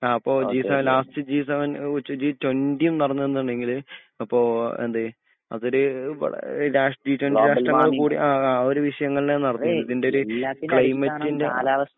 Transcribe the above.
അപ്പൊ G seven last G seven G twenty നടന്നതെന്താങ്ങിൽ അപ്പൊ എന്ത് അതൊരു വളര് രാഷ്ട്രീയ അ ആരുവിഷയങ്ങളില നടന്നിരിന്നെ ഇതിന്റെര് ക്ലൈമെറ്ന്റെ